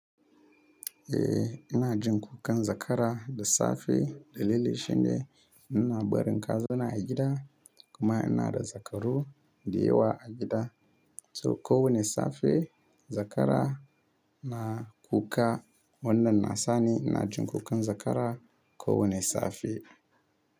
Eh, ina jin kukan zakara da safe dalili shine ina barin kazana a gida kuma ina da zakaru dayawa a gida. So ko wane safe zakara na kuka wannan na sani ina jin kukan zakara ko wane safe.